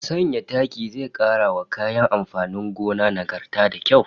Sanya taki zai kara wa kayan amfanin gona nagarta da kyau